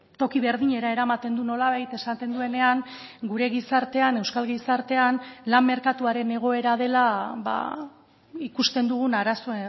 toki berdinera eramaten du nolabait esaten duenean gure gizartean euskal gizartean lan merkatuaren egoera dela ikusten dugun arazo